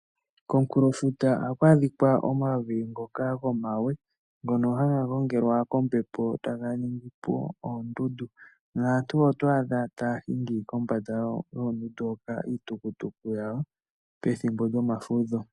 Komunkulofuta ohaka adhikwa omavi ngoka gomawe ngono haga gongelwa kombepo taga ningipo oondundu, naantu oto adha taya hingi kombanda yoondundu hoka iitukutuku yawo pethimbo lyomafudho